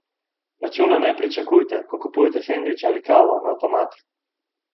Računa ne pričakujte, ko kupujete sendviče ali kavo na avtomatih.